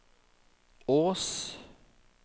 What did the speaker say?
Ås